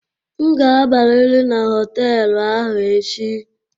M ga-abịarịrị na họtelụ ahụ echi!